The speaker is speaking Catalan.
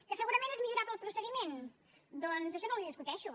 que segurament és millorable el procediment doncs això no els ho discuteixo